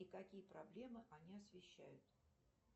и какие проблемы они освящают